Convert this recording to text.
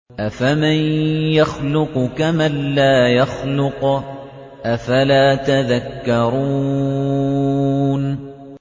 أَفَمَن يَخْلُقُ كَمَن لَّا يَخْلُقُ ۗ أَفَلَا تَذَكَّرُونَ